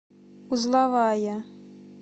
узловая